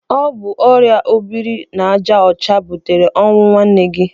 Ọ bụ ọrịa obiri n'aja ọcha butere ọnwụ nwanne gị.